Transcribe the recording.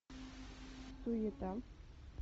суета